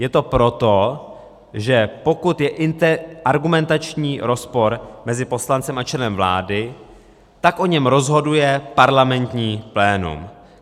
Je to proto, že pokud je argumentační rozpor mezi poslancem a členem vlády, tak o něm rozhoduje parlamentní plénum.